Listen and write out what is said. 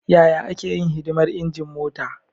Yaya ake yin hidimar injin mota?